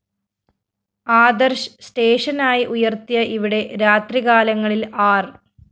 ആദര്‍ശ് സ്റ്റേഷനായി ഉയര്‍ത്തിയ ഇവിടെ രാത്രികാലങ്ങളില്‍ ആര്‍